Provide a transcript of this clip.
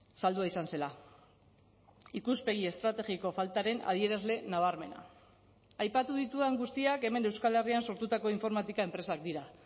saldua izan zela ikuspegi estrategiko faltaren adierazle nabarmena aipatu ditudan guztiak hemen euskal herrian sortutako informatika enpresak dira